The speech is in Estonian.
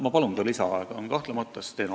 Ma palun lisaaega!